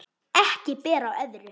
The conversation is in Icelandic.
Ekki ber á öðru